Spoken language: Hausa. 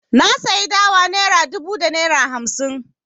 Na sayi dawa naira dubu da naira hamsi.